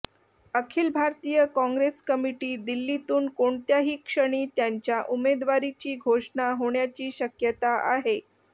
अखिल Bharatiya Congress committee दिल्लीतून कोणत्याही क्षणी त्यांच्या उमेदवारीची घोषणा होण्याची शक्यता आहे